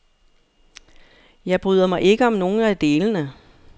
Jeg bryder mig ikke om nogen af delene.